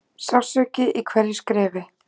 Sársauki í hverju skrefi.